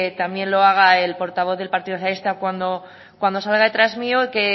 también lo haga el portavoz del partido socialista cuando salga detrás de mí el que